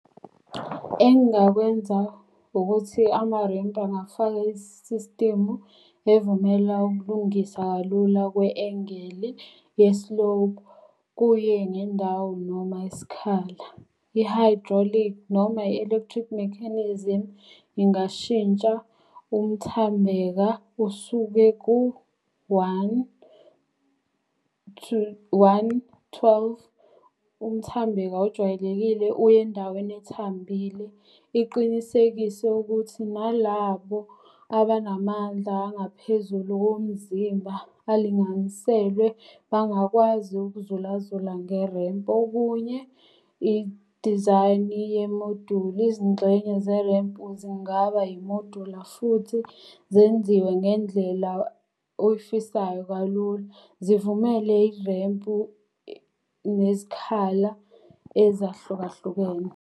Engingakwenza ukuthi ama-ramp angafaka i-system-u evumela ukulungisa kalula kwe-engeli ye-slope, kuye ngendawo noma isikhala. I-hydraulic noma i-electric mechanism ingashintsha umthambeka usuke ku-one, , one, twelve. Umthambeka ojwayelekile uye endaweni ethambile. Iqinisekise ukuthi nalabo abanamandla angaphezulu komzimba alinganiselwe bangakwazi ukuzulazula nge-ramp. Okunye idizayini ye-module, izingxenye ze-ramp zingaba imodula futhi zenziwe ngendlela oyifisayo kalula. Zivumele irempu nezikhala ezahlukahlukene.